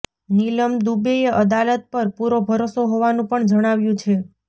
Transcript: નીલમ દુબેએ અદાલત પર પુરો ભરોસો હોવાનું પણ જણાવ્યું છે